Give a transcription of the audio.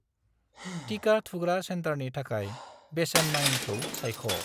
टिका थुग्रा सेन्टारनि थाखाय बेसेन नाङिखौ सायख'।